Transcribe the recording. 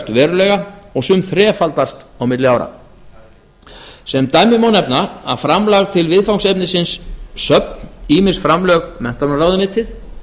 verulega og sum þrefaldast á milli ára sem dæmi má nefna að framlag til viðfangsefnisins söfn ýmis framlög menntamálaráðuneytið